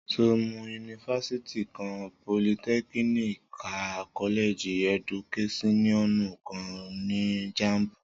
Sọ mú, unifásitì kàn, pólìtẹkínìkí kà, kọlẹjí ẹdúkẹsìọnú kàn ni Jàḿbú?